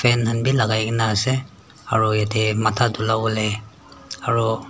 enhen b lagai kina ase aro yete matha dulavolae aro.